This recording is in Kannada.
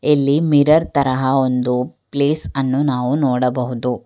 ಇಲ್ಲಿ ಮಿರರ್ ತರಹ ಒಂದು ಪ್ಲೀಸ್ ಅನ್ನು ನಾವು ನೋಡಬಹುದು.